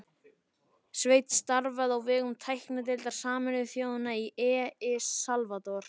Sveinn starfaði á vegum tæknideildar Sameinuðu þjóðanna í El Salvador